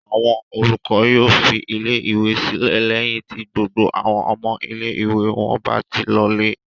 Àwọn olùkọ́ yóò fi ilé-ìwé sílẹ̀ lẹ́yìn tí gbogbo àwọn ọmọ ilé-ìwé wọn bá ti lọlé.